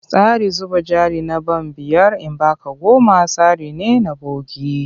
Tsarin zuba jari na ban biyar in ba ka goma tsari ne na bogi.